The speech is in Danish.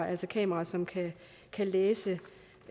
altså kameraer som kan læse